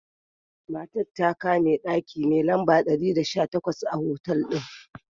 Matan ta kai me daki mai lamba dari da sha takwas a otal din.